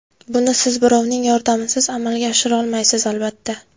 Buni siz birovning yordamisiz amalga oshirolmaysiz albatta.